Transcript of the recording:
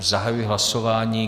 Zahajuji hlasování.